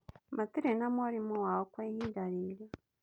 Matirĩ na mwarimũ wao kwa ihinda rĩrĩ